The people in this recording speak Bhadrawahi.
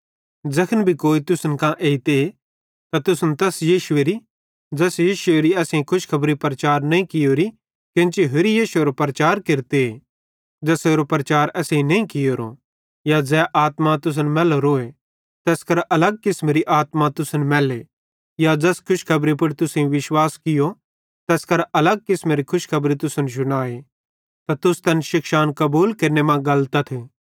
ज़ैखन भी कोई तुसन कां एइते ते तुसन तैस यीशुएरी ज़ैस यीशुएरो असेईं नईं कियोरो एइतां कोन्ची होरि यीशु एरो प्रचार केरते ज़ेसेरो प्रचार असेईं नईं कियोरो या ज़ै आत्मा तुसन मैल्लोरी तैस करां अलग किसमेरी आत्मा तुसन मैल्ले या ज़ैस खुशखबरी पुड़ तुसेईं विश्वास कियूं तैस करां अलग किसमेरे खुशखबरी तुसन शुनाए त तुस तैन शिक्षान कबूल केरने मां गलतथ